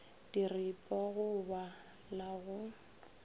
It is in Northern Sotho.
diripwa go ba la go